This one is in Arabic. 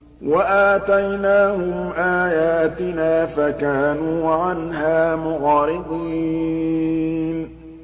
وَآتَيْنَاهُمْ آيَاتِنَا فَكَانُوا عَنْهَا مُعْرِضِينَ